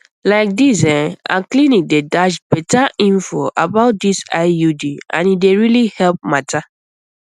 like dis ehh our clinic dey dash better info about this iud and e dey really help matter